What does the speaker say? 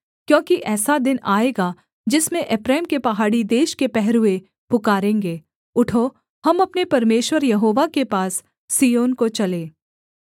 क्योंकि ऐसा दिन आएगा जिसमें एप्रैम के पहाड़ी देश के पहरुए पुकारेंगे उठो हम अपने परमेश्वर यहोवा के पास सिय्योन को चलें